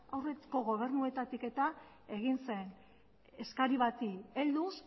aurreko gobernuetatik egin zen eskari bati helduz